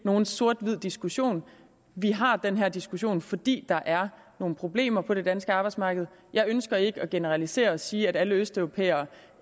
nogen sort hvid diskussion vi har den her diskussion fordi der er nogle problemer på det danske arbejdsmarked jeg ønsker ikke at generalisere og sige at alle østeuropæere